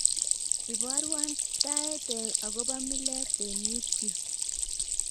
Ibaruan taet agobo milet en youtube